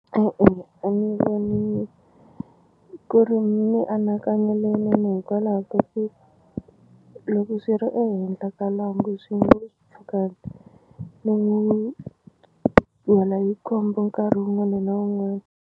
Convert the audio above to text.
E-e a ni voni ku ri mianakanyo leyinene hikwalaho ka ku loko swi ri ehenhla ka lwangu swi nga ni n'wi wela hi khombo nkarhi wun'wani na wun'wani.